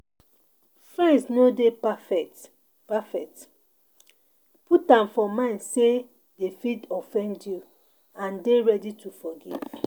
Friends no dey perfect, perfect, put am for mind sey dem fit offend you and dey ready to forgive